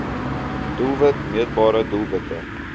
doelwit meetbare doelwitte